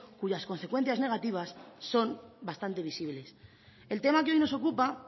cuyas consecuencias negativas son bastante visibles el tema que hoy nos ocupa